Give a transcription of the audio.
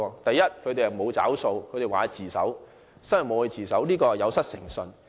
第一，他們沒有"找數"，說會自首，最後卻沒有自首，這是有失誠信。